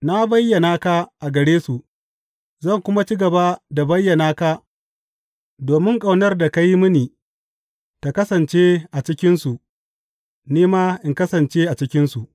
Na bayyana ka a gare su, zan kuma ci gaba da bayyana ka domin ƙaunar da ka yi mini ta kasance a cikinsu ni ma in kasance a cikinsu.